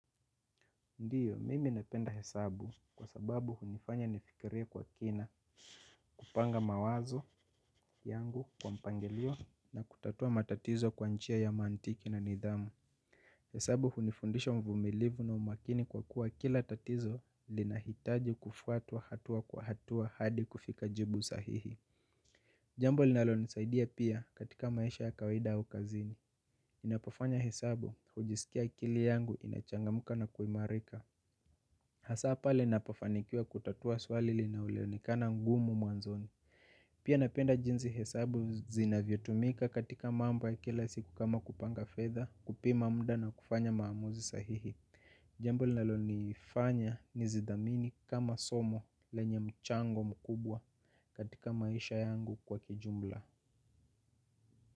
Ndiyo, mimi napenda hesabu kwa sababu hunifanya nifikiria kwa kina kupanga mawazo yangu kwa mpangilio na kutatua matatizo kwa nchia ya mantiki na nidhamu. Hesabu hunifundisha mvumilivu na umakini kwa kuwa kila tatizo lina hitaji kufuatua hatua kwa hatua hadi kufika jibu sahihi. Jambo linalo nisaidia pia katika maisha ya kawahida au kazini. Ninapofanya hesabu kujisikia kili yangu inachangamuka na kuimarika. Hasapale nina pofanikiwa kutatua swali linaleonekana ngumu muanzoni. Pia napenda jinzi hesabu zinavyo tumika katika mambo ya kila siku kama kupanga fedha kupima mda na kufanya maamuzi sahihi. Jambo linalo nifanya nizidhamini kama somo lenye mchango mkubwa katika maisha yangu kwa kijumla.